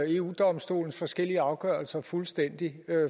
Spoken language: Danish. eu domstolens forskellige afgørelser fuldstændig